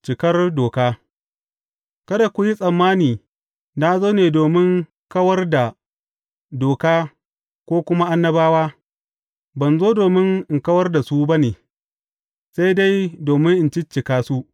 Cikar doka Kada ku yi tsammani na zo ne domin in kawar da Doka ko kuma Annabawa; ban zo domin in kawar da su ba ne, sai dai domin in ciccika su.